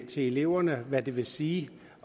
til eleverne hvad det vil sige